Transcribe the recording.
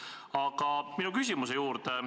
Aga lähen nüüd oma küsimuse juurde.